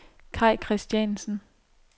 Kaj Kristiansen